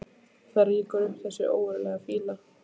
Og það rýkur upp þessi ógurlega fýla.